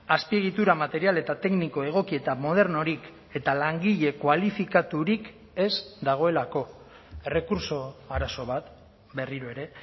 azpiegitura material eta tekniko egoki eta modernorik eta langile kualifikaturik ez dagoelako errekurtso arazo bat berriro ere